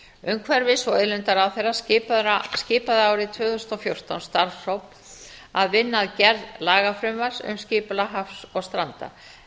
umhverfis og auðlindaráðherra skipaði árið tvö þúsund og fjórtán starfshóp að vinna að gerð lagafrumvarps um skipulag hafs og stranda